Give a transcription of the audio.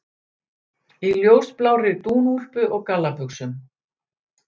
Í ljósblárri dúnúlpu og gallabuxum.